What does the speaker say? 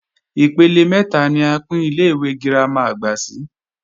Ipele mẹ́ta ni a pín Ilé-ìwé girama àgbà sí